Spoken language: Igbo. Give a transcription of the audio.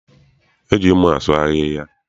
E ji mma asụ ahịhịa.